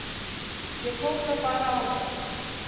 Ég tók það bara á mig.